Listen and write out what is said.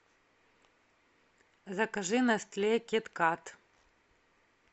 закажи нестле кит кат